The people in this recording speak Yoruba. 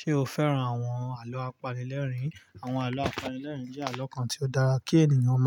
Ṣé o fẹ́ran àwọn àlọ́ àpalẹ̀lẹ́rìn? Àwọn àlọ́ àpalẹ̀lẹ́rìn jẹ́ àlọ́ kan tí ó dára kí ènìyàn